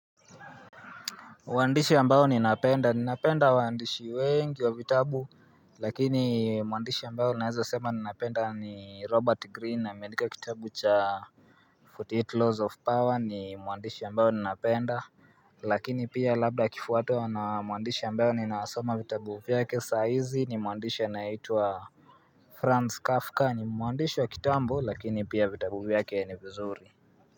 Muandishi ambao ni napenda ni napenda waandishi wengi wa vitabu Lakini muandishi ambao naezo sema ni napenda ni robert green amendika kitabu cha 48 laws of power ni muandishi ambao ni napenda Lakini pia labda kifuato wa na muandishi ambao ni naasoma vitabu vyake saizi ni muandishi yanayitua franz kafka ni muandishi wa kitabu lakini pia vitabu vyake ya ni vizuri.